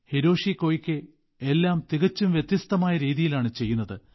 Hiroshi Koike എല്ലാം തികച്ചും വ്യത്യസ്തമായ രീതിയിലാണ് ചെയ്യുന്നത്